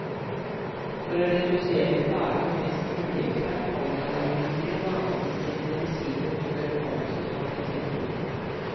For å redusere plagene mest mulig, tar pollenallergikere vanligvis sine medisiner før pollensesongen setter inn.